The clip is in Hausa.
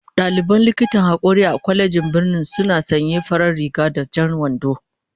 Dalibin likitan hakori a kwalejin birnin suna sanya farar riga da jan wando